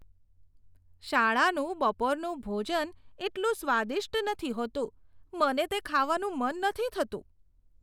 શાળાનું બપોરનું ભોજન એટલું સ્વાદિષ્ટ નથી હોતું, મને તે ખાવાનું મન નથી થતું.